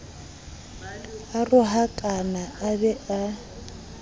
a rohakane a be a